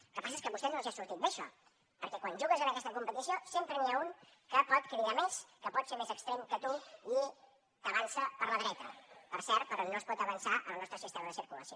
el que passa és que a vostès no els hi ha sortit bé això perquè quan jugues en aquesta competició sempre n’hi ha un que pot cridar més que pot ser més extrem que tu i que t’avança per la dreta per cert per on no es pot avançar en el nostre sistema de circulació